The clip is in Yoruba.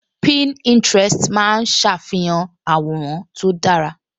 Pininterest máa ń ṣàfihàn àwòrán tó dára